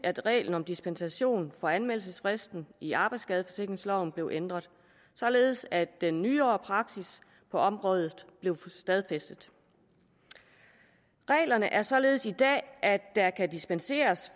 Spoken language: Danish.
at reglen om dispensation for anmeldelsesfristen i arbejdsskadeforsikringsloven blev ændret således at den nyere praksis på området blev stadfæstet reglerne er således i dag at der kan dispenseres